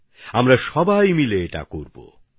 আমরা সবাই মিলে এটা করতে চলেছি